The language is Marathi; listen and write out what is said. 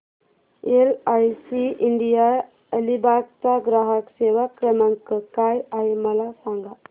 एलआयसी इंडिया अलिबाग चा ग्राहक सेवा क्रमांक काय आहे मला सांगा